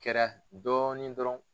kɛra dɔɔnin dɔrɔn.